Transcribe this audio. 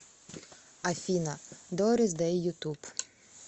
афина дорис дэй ютуб